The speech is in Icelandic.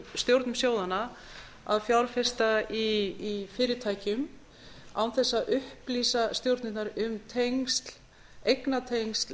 stjórnum sjóðanna að fjárfesta í fyrirtækjum án þess að upplýsa stjórnirnar um eignatengsl